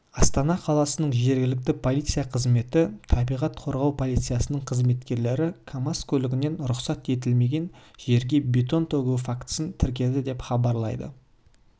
астана қаласының жергілікті полиция қызметі табиғат қорғау полициясының қызметкерлері камаз көлігінен рұқсат етілмеген жерге бетон төгу фактісін тіркеді деп хабарлайды